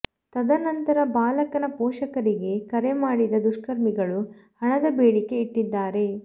ತದ ನಂತರ ಬಾಲಕನ ಪೋಷಕರಿಗೆ ಕರೆ ಮಾಡಿದ ದುಷ್ಕರ್ಮಿಗಳು ಹಣದ ಬೇಡಿಕೆ ಇಟ್ಟಿದ್ದಾರೆ